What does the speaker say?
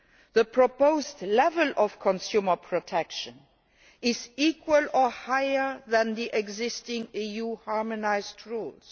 The proposed level of consumer protection is equal to or higher than the existing EU harmonised rules.